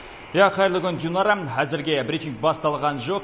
иә қайырлы күн динара әзірге брифинг басталған жоқ